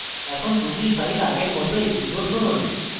এখন ruby file আবার আগের মত execute করুন